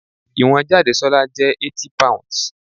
Ìwọ̀n Jadesola jẹ́ 80 pounds.